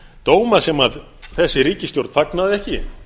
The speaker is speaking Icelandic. dóma sem þessi ríkisstjórn fagnaði ekki